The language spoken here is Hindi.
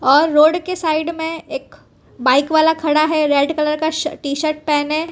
और रोड के साइड में एक बाइक वाला खड़ा हैं रेड कलर का टी शर्ट पेहने।